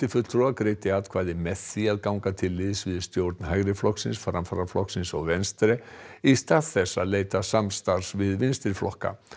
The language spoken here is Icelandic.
fulltrúa greiddi atkvæði með því að ganga til liðs við stjórn Framfaraflokksins og Venstre í stað þess að leita samstarfs við vinstriflokka